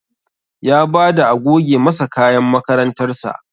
Ya bada a goge masa kayan makarantar sa